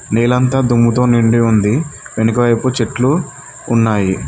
నేలంతా దుమ్ముతో నిండి ఉంది వెనుక వైపు చెట్లు ఉన్నాయి.